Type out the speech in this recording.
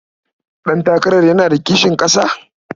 Ɗantakarar yana da kishin ƙasa.